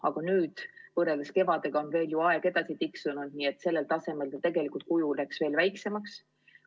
Aga võrreldes kevadega on ju aeg edasi tiksunud, nii et praegusel tasemel see tegelikult kujuneks veel väiksemaks.